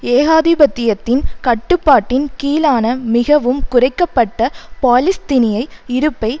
ஏகாதிபத்தியத்தின் கட்டுப்பாட்டின் கீழான மிகவும் குறைக்க பட்ட பாலிஸ்தினிய இருப்பை